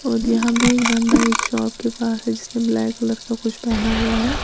और यहां भी एक बंदा एक शॉप के पास है जिसने ब्लैक कलर का कुछ पहना हुआ है।